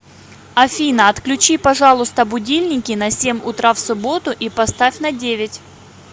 афина отключи пожалуйста будильники на семь утра в субботу и поставь на девять